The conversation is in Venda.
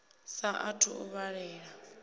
sa a thu u vhalela